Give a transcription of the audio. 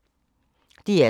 DR2